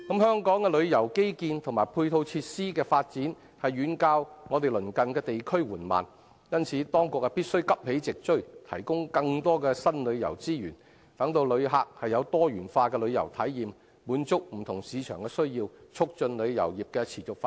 香港的旅遊基建及配套設施的發展遠較鄰近地區緩慢，因此當局必須急起直追，提供更多新旅遊資源，讓旅客有多元化的旅遊體驗，滿足不同市場的需要，以促進旅遊業持續發展。